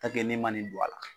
n'e ma nin don a la.